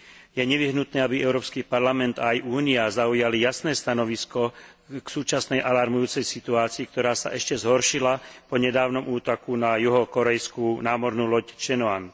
Je nevyhnutné, aby Európsky parlament aj Únia zaujali jasné stanovisko k súčasnej alarmujúcej situácii, ktorá sa ešte zhoršila po nedávnom útoku na juhokórejskú námornú loď Cheonan.